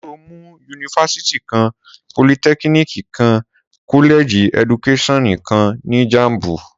Sọ mú, unifásitì kàn, pólìtẹkínìkí kà, kọlẹjí ẹdúkẹsìọnú kàn ni Jàḿbú?